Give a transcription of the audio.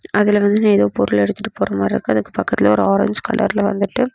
அதுல வந்து ஏதோ பொருள் எடுத்துட்டு போற மாரி இருக்கு அதுக்கு பக்கத்துலயே ஒரு ஆரஞ்சு கலர்ல வந்துட்டு.